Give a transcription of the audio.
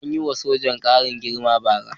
An yi wa sojan ƙarin girma bara.